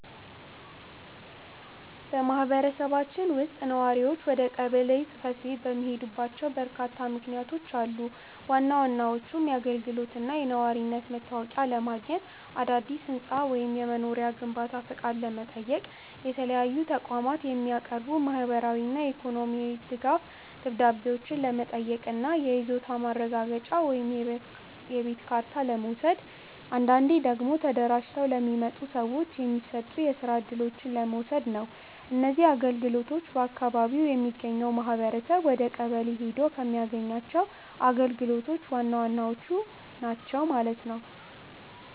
በማኅበረሰባችን ውስጥ ነዋሪዎች ወደ ቀበሌ ጽሕፈት ቤት የሚሄዱባቸው በርካታ ምክንያቶች አሉ። ዋና ዋናዎቹም የአገልግሎትና የነዋሪነት መታወቂያ ለማግኘት፣ አዳዲስ የሕንፃ ወይም የመኖሪያ ቤት ግንባታ ፈቃድ ለመጠየቅ፣ ለተለያዩ ተቋማት የሚቀርቡ የማኅበራዊና የኢኮኖሚ ድጋፍ ደብዳቤዎችን ለመጠየቅ እና የይዞታ ማረጋገጫ ወይም የቤት ካርታ ለመውሰድ፣ አንዳንዴ ደግሞ ተደራጅተው ለሚመጡ ሰዎች የሚሰጡ የስራ እድሎችን ለመውሰድ ነው። እነዚህ አገልግሎቶች በአካባቢው የሚገኘው ኅብረተሰብ ወደቀበሌ ሔዶ ከሚያገኛቸው ግልጋሎቶች ዋናዎቹ ናቸው ማለት ነው።